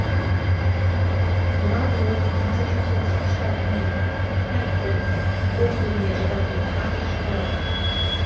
ладлоу массачусетс штатының хэмпден округіне жататын ақш қаласы